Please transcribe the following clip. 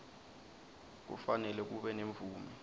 kufanele kube nemvume